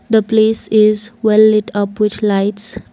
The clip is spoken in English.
The place is well it up which lights.